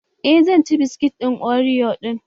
Eh zan ci biskitin oriyo ɗin.